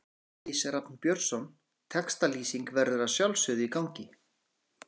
Elís Rafn Björnsson Textalýsing verður að sjálfsögðu í gangi.